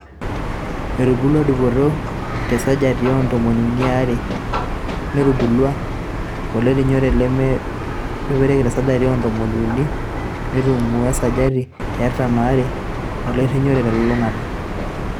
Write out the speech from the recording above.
Etubulua dupoto te sajati o ntomon unii aare netubulua olerinyore lemedupareki tesaji oo ntomon unii neitululungu esaji e artam aare olerinyore telulungata.